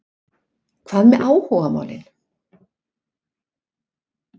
Hvað með áhugamálin?